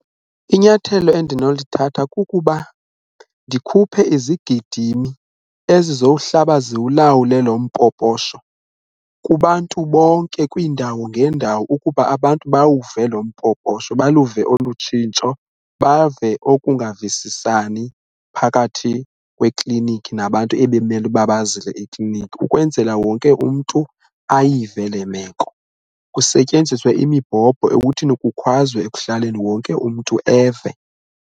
Inyathelo endinolithatha kukuba ndikhuphe izigidimi ezizowuhlaba ziwulawule lo mpoposho kubantu bonke kwiindawo ngeendawo ukuba abantu bawuve lo mpoposho, baluve olu tshintsho, bave okungavisisani phakathi kwekliniki nabantu ebemele uba bazile ekliniki ukwenzela wonke umntu ayive le meko kusetyenziswe imibhobho ekuthini kukhwazwe ekuhlaleni wonke umntu eve.